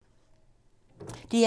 DR1